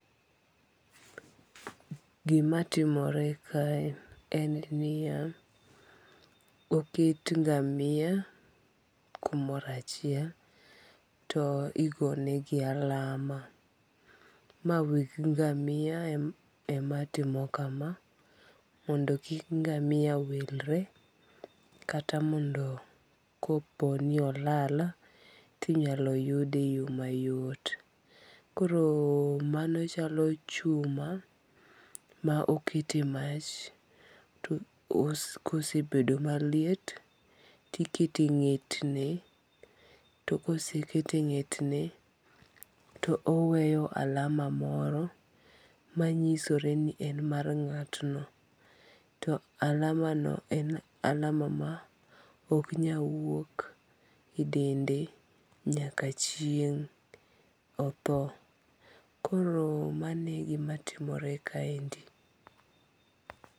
Gimatimore kae en niya, oket nga'mia kumoro achiel, to igonegi alama, mae weg ngamia ematimo kama mondo kik ngamia wilre kata mondo ko po ni olal to inyalo yude e yo mayot , koro mano chalo chuma ma okete mach to kosebedo maliet to ikete nge'tne, to kosekete nge'tne to oweyo alama moro manyisore ni en mar nga'tno to alamano en alama ma oknyal wuok e dende nyaka chieng' otho, koro mano e gimatimore kaendi.